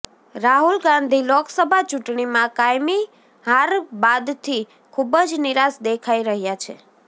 રાહુલ ગાંધી લોકસભા ચૂંટણીમાં કાયમી હાર બાદથી ખુબ જ નિરાશ દેખાઈ રહ્યા છે